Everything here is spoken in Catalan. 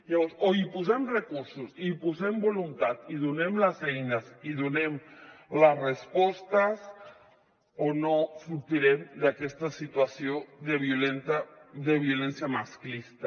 llavors o hi posem recursos i posem voluntat i donem les eines i donem les respostes o no sortirem d’aquesta situació de violència masclista